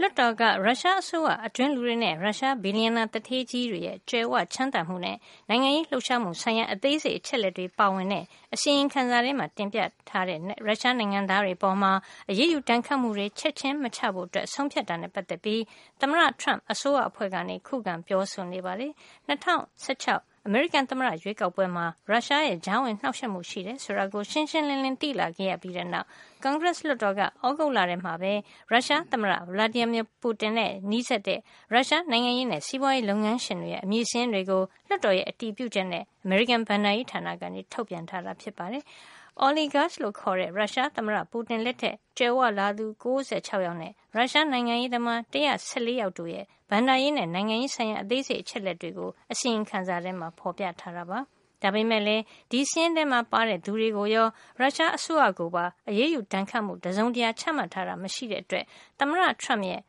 လွှတ်တော်က ရုရှားအစိုးရအတွင်းလူတွေနဲ့ ရုရှားဘီလျံနာသူဌေးကြီးတွေရဲ့ ကြွယ်ဝချမ်းသာမှုနဲ့ နိုင်ငံရေးလှုပ်ရှားမှုဆိုင်ရာ အသေးစိတ် အချက်အလက်တွေ ပါဝင်တဲ့ အစီရင်ခံစာထဲမှာ တင်ပြထားတဲ့ ရုရှားနိုင်ငံသားတွေ အပေါ် အရေးယူဒဏ်ခတ်မှု ချက်ချင်း မချဖို့ ဆုံးဖြတ်တာနဲ့ ပတ်သက်ပြီး သမ္မတ Trump အစိုးရအဖွဲ့က ခုခံပြောဆိုနေပါတယ်။ ၂၀၁၆ အမေရိကန်သမ္မတ ရွေးကောက်ပွဲမှာ ရုရှားရဲ့ ကြားဝင်နှောက်ယှက်မှုရှိတယ်ဆိုတာ ရှင်းရှင်းလင်းလင်း သိလာခဲ့ပြီးတဲ့ နောက် ကွန်ဂရက်လွှတ်တော်က သြဂုတ်လထဲမှာ ရုရှားသမ္မတ Vladimir Putin နဲ့ နီးစပ်တဲ့ ရုရှား နိုင်ငံရေးနဲ့ စီးပွားရေး လုပ်ငန်းရှင်တွေရဲ့ အမည် စာရင်းတွေကို လွှတ်တော်ရဲ့ အတည်ပြုချက်နဲ့ အမေရိကန် ဘဏ္ဍာရေးဌာနက ထုတ်ပြန်လိုက်ပါတယ်။ “oligarchs” လို့ခေါ်တဲ့ ရုရှားသမ္မတ Putin လက်ထက်ကြွယ်ဝလာသူ ၉၆ ယောက်နဲ့ ရုရှားနိုင်ငံရေးသမား ၁၁၄ ယောက်တို့ရဲ့ ဘဏ္ဍာရေးနဲ့ နိုင်ငံရေး ဆိုင်ရာ အသေးစိတ်အချက်လက်တွေကို အစီရင်ခံစာထဲမှာ ဖေါ်ပြထားတာပါ။ ဒါပေမယ့်လည်း ဒီစာရင်းထဲပါတဲ့သူတွေကိုရော ရုရှားအစိုးရကိုပါ အရေးယူဒဏ်ခတ်မှု တစုံတရာချမှတ်ထားတာ မရှိတဲ့အတွက် သမ္မတ Trump ရဲ့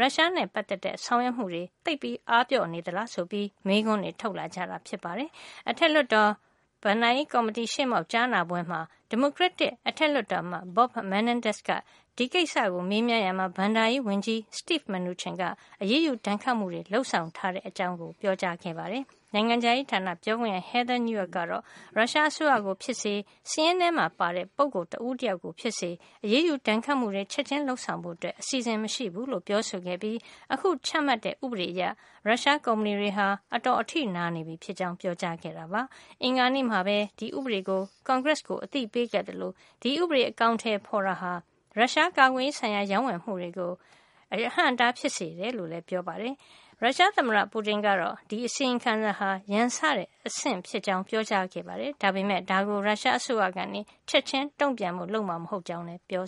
ရုရှားနဲ့ ပတ်သက်တဲ့ ဆောင်ရွက်မှုတွေ သိပ်အားပျော့နေသလား ဆိုပြီး မေးခွန်းတွေ ထုတ်လာကြတာ ဖြစ်ပါတယ်။ အထက်လွှတ်တော် ဘဏ်ကော်မတီရှေ့မှောက် ကြားနာပွဲမှာ ဒီမိုကရက်တစ်အထက်လွှတ်တော်အမတ် Bob Menendez က ဒီကိစ္စကို မေးမြန်းရာမှာ ဘဏ္ဍာရေးဝန်ကြီး Steve Mnuchin က အရေးယူဒဏ်ခတ်မှုတွေ လုပ်ဆောင်ထားတဲ့ အကြောင်း ပြောကြားခဲ့ပါတယ်။ နိုင်ငံခြားရေးဌာန ပြောခွင့်ရ Heather Nauert ကတော့ ရုရှားအစိုးရကို ဖြစ်စေ စာရင်းထဲမှာ ပါတဲ့ ပုဂ္ဂိုလ် တဦးတယောက်ကို ဖြစ်စေ အရေးယူ ဒဏ်ခတ်မှုတွေ ချက်ချင်းလုပ်ဆောင်ဖို့အစီအစဉ် မရှိဘူးလို့ ပြောဆိုခဲ့ပြီး အခုချမှတ်တဲ့ ဥပဒေအရ ရုရှား ကုမ္ပဏီတွေဟာ အတော် အထိနာနေပြီဖြစ်ကြောင်း ပြောကြားခဲ့ပါတယ်။ အင်္ဂါနေ့မှာပဲ ဒီဥပဒေကို ကွန်ဂရက်ကို အသိပေးခဲ့သလို ဒီဥပဒေ အကောင်ထည် ဖေါ်တာဟာ ရုရှားကာကွယ်ရေးဆိုင်ရာ ရောင်းဝယ်မှုတွေကို အဟန့်အတား ဖြစ်စေမယ်လို့လည်း ပြောပါတယ်။ ရုရှားသမ္မတ Putin ကတော့ ဒီအစီရင်ခံစာဟာ ရန်စတဲ့ အဆင့်ဖြစ်ကြောင်းပြောကြားခဲ့ပေမယ့် ဒါကို ရုရှားအစိုးရက ချက်ချင်းတုန့်ပြန်ဖို့ လုပ်မှာ မဟုတ်ကြောင်းလည်း ပြော